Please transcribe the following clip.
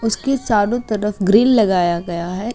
उसकी चारो तरफ ग्रील लगाया गया है।